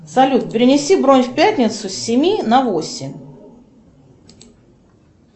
салют перенеси бронь в пятницу с семи на восемь